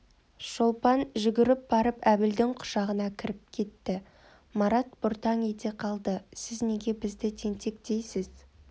шолпан жүгіріп барып әбілдің құшағына кіріп кетті марат бұртаң ете қалды сіз неге бізді тентек дейсіз